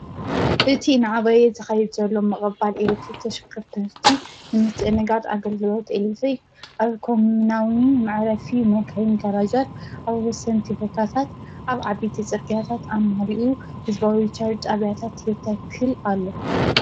እቲ እናዓበየ ዝኸይድ ዘሎ ምቕባል ኤሊ ተሽከርከርቲ ንምስትእንጋድ ኣገልግሎት ኤሌክትሪክ ኣብ ኮም ናውቲ መዕረፊ መካይን ጋራጃት ኣብ ወሰንቲ ቦታታት ኣብ ዓበይቲ ፅርግያታት ኣማሊኡ ህዝበዊ ውሽጣዋ ጣብያታት ይተክል ኣሎ፡፡